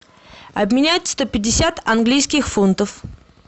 обменять сто пятьдесят английских фунтов